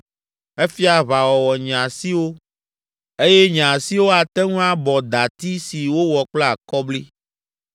Efia aʋawɔwɔ nye asiwo eye nye asiwo ate ŋu abɔ dati si wowɔ kple akɔbli.